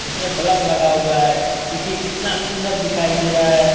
इसमें बल्व लगा हुआ है देखिये कितना सुन्दर दिखाई दे रहा है |